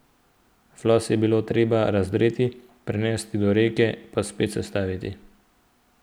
Flos je bilo treba razdreti, prenesti do reke pa spet sestaviti.